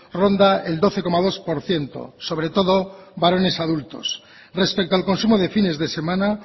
ronda el doce coma dos por ciento sobre todo varones adultos respecto al consumo de fines de semana